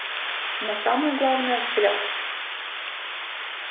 но самое главное взгляд